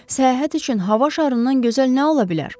Səyahət üçün hava şarından gözəl nə ola bilər?